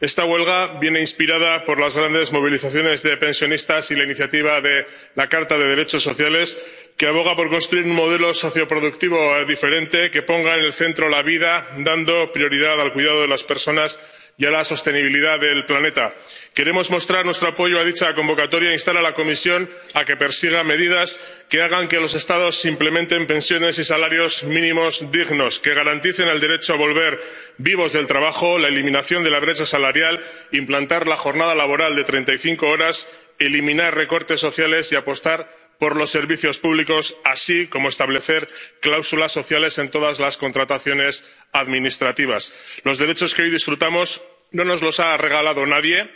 Esta huelga viene inspirada por las grandes movilizaciones de pensionistas y la iniciativa de la Carta comunitaria de los derechos sociales, que aboga por construir un modelo socioproductivo diferente, que ponga en el centro la vida, dando prioridad al cuidado de las personas y a la sostenibilidad del planeta. Queremos mostrar nuestro apoyo a dicha convocatoria e instar a la Comisión a que persiga medidas que hagan que los Estados implementen pensiones y salarios mínimos dignos, garanticen el derecho a volver vivos del trabajo y la eliminación de la brecha salarial, implanten la jornada laboral de 35 horas, eliminen los recortes sociales, apuesten por los servicios públicos y establezcan cláusulas sociales en todas las contrataciones administrativas. Los derechos que hoy disfrutamos no nos los ha regalado nadie.